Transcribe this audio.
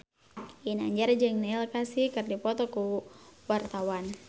Ginanjar jeung Neil Casey keur dipoto ku wartawan